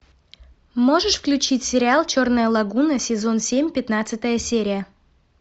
можешь включить сериал черная лагуна сезон семь пятнадцатая серия